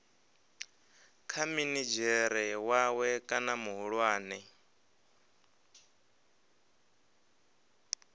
kha minidzhere wawe kana muhulwane